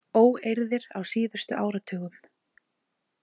Óeirðir á síðustu áratugum.